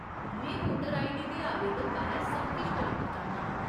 में voter ID दे आवेदन बारै सब किश जानना चाह्न्नां।